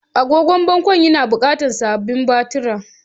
Agogon bangon yana buƙatar sababbin batira